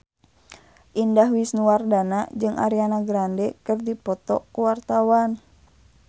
Indah Wisnuwardana jeung Ariana Grande keur dipoto ku wartawan